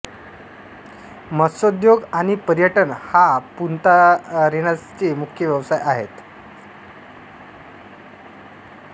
मत्सोद्योग आणि पर्यटन हा पुंतारेनासचे मुख्य व्यवसाय आहेत